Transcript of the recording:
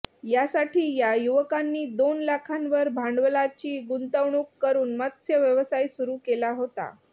यासाठी या युवकांनी दोन लाखांवर भांडवलाची गुंतवणूक करून मत्स्य व्यवसाय सुरू केला होता